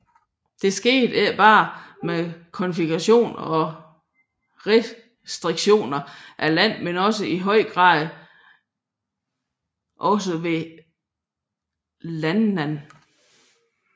Dette skete ikke bare ved konfiskationer og redistribution af land men i høj grad også ved landnam